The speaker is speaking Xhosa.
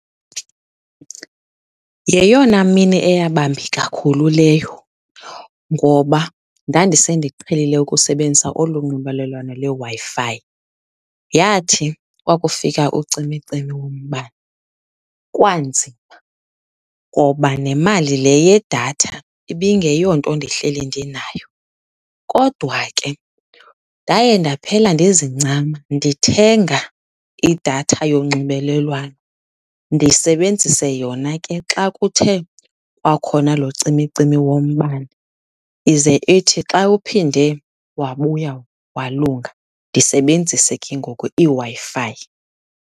Yeyona mini eyaba mbi kakhulu leyo ngoba ndandise ndiqhelile ukusebenzisa olu nxibelelwano leWi-Fi. Yathi kwakufika ucimicimi wombane kwanzima ngoba nemali le yedatha ibingeyonto ndihleli ndinayo. Kodwa ke ndaye ndaphela ndizincama ndithenga idatha yonxumelelwano, ndisebenzise yona ke xa kuthe kwakhona lo cimicimi wombane. Ize ithi xa uphinde wabuya walunga ndisebenzise ke ngoku iWi-Fi.